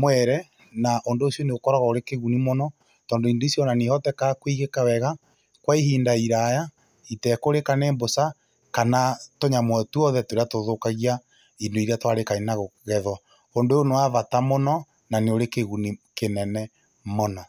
mwere. Na ũndũ ũcio nĩ ũkoragwo ũrĩ kĩguni mũno tondũ indo icio nĩ ihotekaga kũigĩka wega kwa ihinda iraya itekũrĩka nĩ mbũca kana tũnyamũ o twothe tũrĩa tũthũkagia indo iria twarĩkania na gũkĩgethwo. Ũndũ ũyũ nĩ wa bata na nĩ ũrĩ kĩguni kĩnene mũno.